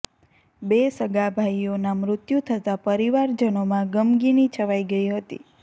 બે સગાભાઈઓનાં મૃત્યુ થતાં પરિવારજનોમાં ગમગીની છવાઈ ગઈ હતી